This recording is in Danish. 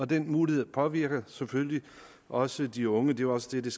den mulighed påvirker selvfølgelig også de unge det var også det